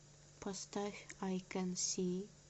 поставь ай кэн си